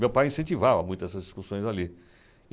Meu pai incentivava muito essas discussões ali.